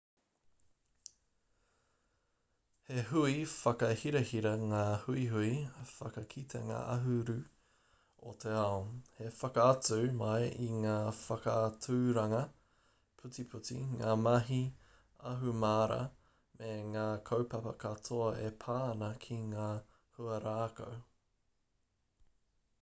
he hui whakahirahira ngā huihui whakakitenga ahuru o te ao he whakaatu mai i ngā whakaaturanga putiputi ngā mahi ahumāra me ngā kaupapa katoa e pā ana ki ngā huarākau